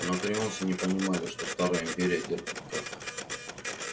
анакреонцы не понимали что старая империя терпит крах